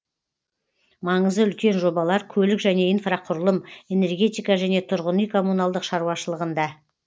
маңызы үлкен жобалар көлік және инфрақұрылым энергетика және тұрғын үй коммуналдық шаруашылығында